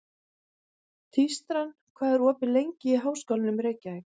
Tístran, hvað er opið lengi í Háskólanum í Reykjavík?